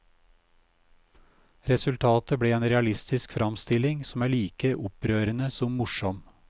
Resultatet ble en realistisk framstilling som er like opprørende som morsom.